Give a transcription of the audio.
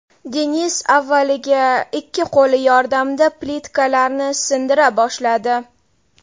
Dennis avvaliga ikki qo‘li yordamida plitkalarni sindira boshladi.